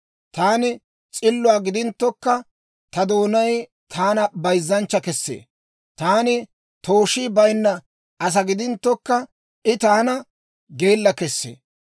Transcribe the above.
Taani s'illuwaa gidinttokka ta doonay taana bayzzanchcha kessee; taani tooshii bayinna asaa gidinttokka, I taana geella kessee.